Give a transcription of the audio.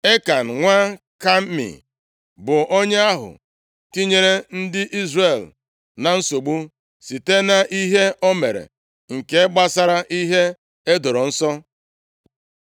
Ekan nwa Kami, bụ onye ahụ tinyere ndị Izrel na nsogbu, site nʼihe o mere nke gbasara ihe e doro nsọ.